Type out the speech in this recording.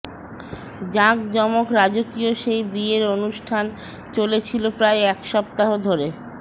জাঁকজমক রাজকীয় সেই বিয়ের অনুষ্ঠান চলেছিল প্রায় এক সপ্তাহ ধরে